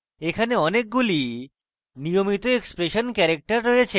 এখানে অনেকগুলি নিয়মিত expression ক্যারেক্টার রয়েছে